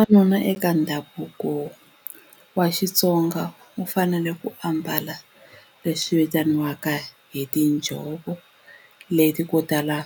Vavanuna eka ndhavuko wa Xitsonga u fanele ku ambala leswi vitaniwaka hi tinjhovo leti ko tala